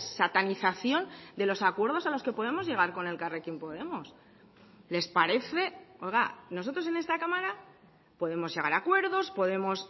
satanización de los acuerdos a los que podemos llegar con elkarrekin podemos les parece oiga nosotros en esta cámara podemos llegar a acuerdos podemos